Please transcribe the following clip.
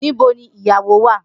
Nibo ni iyawo wa?